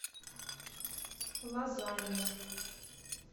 лазанья